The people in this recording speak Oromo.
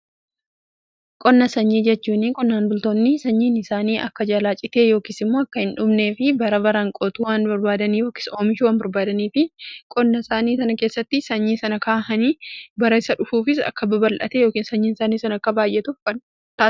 qonna sanyii jechuun qonnaan bultoonni sanyiin isaanii akka jalaa citee yookiin immoo akka hin dhumnee fi bara baraan qootuu waan barbaadaniif yookiin oomishuu waan barbaadaniifi qonna isaanii sana keessatti sanyii sana ka'anii bara isa dhufuufis akka babal'atee yookiin sanyiin isaanii sana akka baay'eetu taasisa.